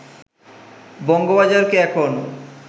বঙ্গবাজারকে এখন